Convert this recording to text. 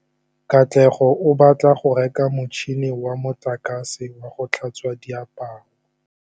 Katlego o batla go reka motšhine wa motlakase wa go tlhatswa diaparo.